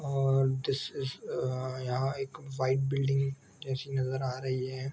अअअ दिस इस अअअ यहाँ एक वाइट बिल्डिंग जैसी नजर आ रही है।